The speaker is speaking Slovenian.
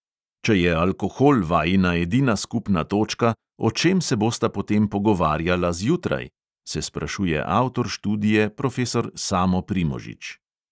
"Če je alkohol vajina edina skupna točka, o čem se bosta potem pogovarjala zjutraj?" se sprašuje avtor študije profesor samo primožič.